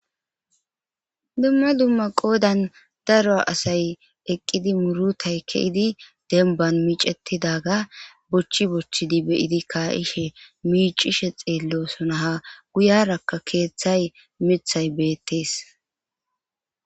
dumma dumma qoodan daro asay eqqidi murutay keidi denban miicettidaga bochchi bochchidi beyidi kaa7ishe miicishe xeello sonaha guyarakka keeththay mithay beettees